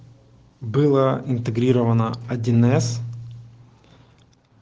была интегрирована один эс